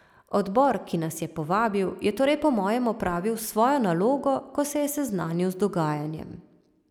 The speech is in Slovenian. Odbor, ki nas je povabil, je torej po mojem opravil svojo nalogo, ko se je seznanil z dogajanjem.